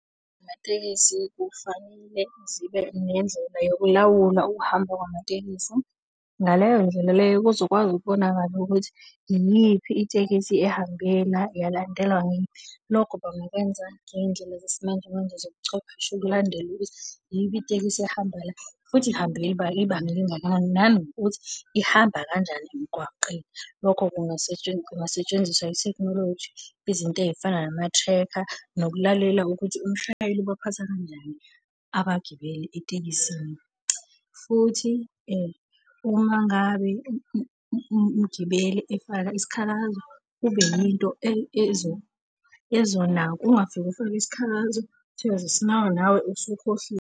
Izinhlangano zamatekisi kufanele zibe nendlela yokulawula ukuhamba kwamatekisi, ngaleyo ndlela leyo kuzokwazi ukubonakala ukuthi iyiphi itekisi ehambe la, yalandelwa ngeyiphi. Lokho bangakwenza ngey'ndlela zesimanjemanje zobuchwepheshe ukulandela ukuthi iyiphi itekisi ehamba la, futhi ihambe ibanga elingakanani nanokuthi ihamba kanjani emgwaqeni. Lokho kungasetshenziswa ithekhnoloji izinto ey'fana nama-tracker, nokulalela ukuthi umshayeli ubaphatha kanjani abagibeli etekisini. Futhi uma ngabe umgibeli efaka isikhalazo kube yinto ezonakwa, ungafiki ufake isikhalazo siyoze sinakwe nawe usukhohliwe.